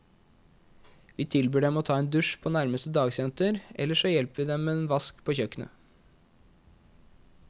Vi tilbyr dem å ta en dusj på nærmeste dagsenter, ellers så hjelper vi dem med en vask på kjøkkenet.